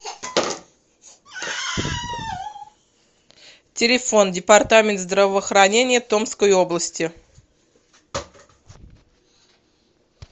телефон департамент здравоохранения томской области